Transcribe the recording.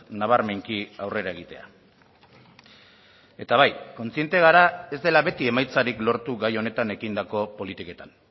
nabarmenki aurrera egitea eta bai kontziente gara ez dela beti emaitzarik lortu gai honetan egindako politiketan